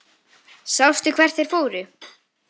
Sástu hvert þeir fóru?